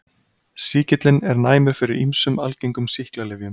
Sýkillinn er næmur fyrir ýmsum algengum sýklalyfjum.